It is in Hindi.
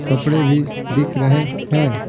कपड़े भी दिख रहे है।